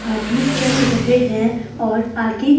आदमी चल रहे हैं और आगे--